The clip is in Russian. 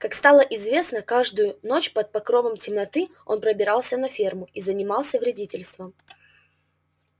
как стало известно каждую ночь под покровом темноты он пробирался на ферму и занимался вредительством